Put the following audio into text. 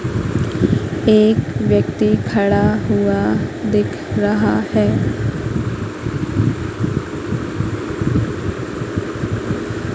एक व्यक्ति खड़ा हुआ दिख रहा है।